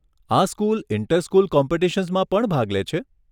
આ school inter school કોમ્પિટિશન્સમાં પણ ભાગ લે છે?